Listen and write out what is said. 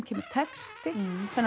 kemur texti